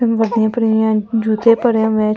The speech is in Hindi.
सब हैं जूते पड़े पड़े हुए हैं चप्पलें पड़े हुए --